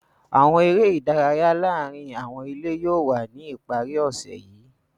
Awọn ere idaraya laarin awọn ile yóò wa ni ipari ose yii.